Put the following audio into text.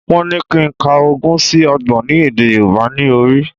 Wọ́n ní kí n ka ogún sí Ọgbọ̀n ní èdè Yorùbá ní orí